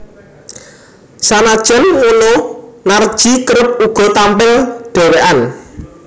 Sanajan ngono Narji kerep uga tampil dhewékan